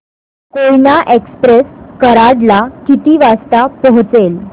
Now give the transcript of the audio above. Koyna express कराड ला किती वाजता पोहचेल